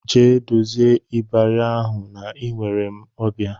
Jee dozie ịbarị ahụ na enwere m ọbịa!